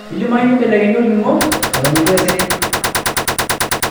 Keidimayu neibelekenyi olning'o eton eitu esirri .